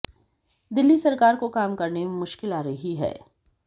दिल्ली सरकार को काम करने में मुश्किल आ रही है